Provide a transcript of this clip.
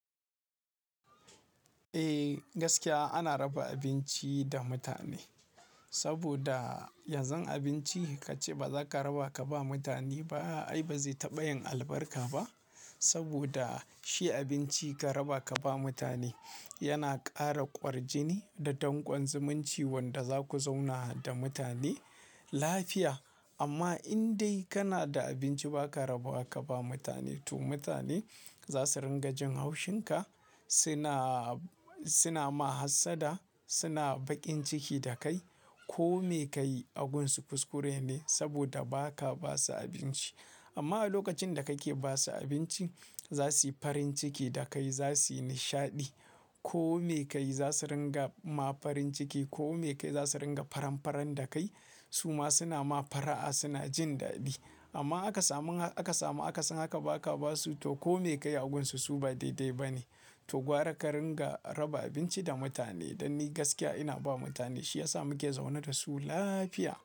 Eh gaskiya ana raba abinci da mutane, saboda yanzu abinci kace baza ka raba ka ba mutane ba ai ba zai taɓa yin albarka ba. Saboda shi abinci ka raba ka ba mutane yana ƙara kwarjini da dankon zumunci wanda zaku zauna da mutane lafiya. Amma in dai kana da abinci ba ka raba ka ba mutane to mutane za su ringa jin haushin ka, suna, suna ma hassada, suna baƙin ciki da kai. Ko me ka yi agunsu kuskure ne saboda ba ka ba su abinci. Amma a lokacin da ka ke ba su abinci za su yi farin ciki da kai za su yi nishaɗi. Ko me ka yi za su ringa ma farin ciki. Ko me ka yi za su ringa faranfaran da kai. Su ma suna ma fara'a suna jin daɗi. Amma aka samun, aka samu akasin haka ba ka ba su to ko me ka yi agunsu su ba daidai ba ne. To gwara ka ringa raba abinci da mutane. Dan ni gaskiya ina ba mutane shi ya sa muke zaune da su lafiya.